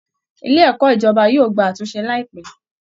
Ilé ẹ̀kọ́ ìjọba yóò gba àtúnṣe láìpẹ́